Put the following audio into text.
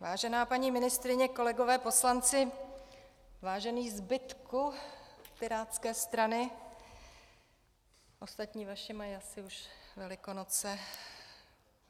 Vážená paní ministryně, kolegové poslanci, vážený zbytku Pirátské strany, ostatní vaši mají asi už Velikonoce.